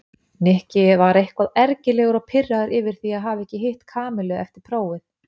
Nikki var eitthvað ergilegur og pirraður yfir því að hafa ekki hitt Kamillu eftir prófið.